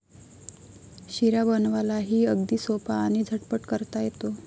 शिरा बनवायलाही अगदी सोपा आणि झटपट करता येतो.